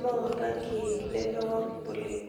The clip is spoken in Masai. moo olrangi lemawang' oleng'